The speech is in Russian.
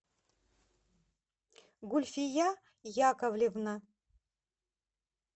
гульфия яковлевна